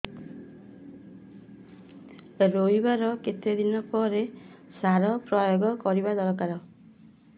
ରୋଈବା ର କେତେ ଦିନ ପରେ ସାର ପ୍ରୋୟାଗ କରିବା ଦରକାର